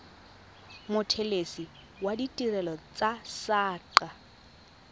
mothelesi wa ditirelo tsa saqa